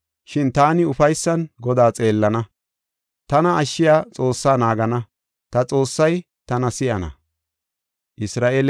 Shin taani ufaysan Godaa xeellana; tana ashshiya Xoossaa naagana; ta Xoossay tana si7ana.